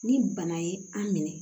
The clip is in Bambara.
Ni bana ye an minɛ